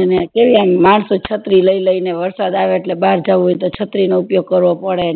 એને કેવી આમ માણસો છત્રી લઇ લઇ ને વારસદ આવે એટલે બાર જતા હોય છે તો છત્રી નો ઉપયોગ કરવો પડે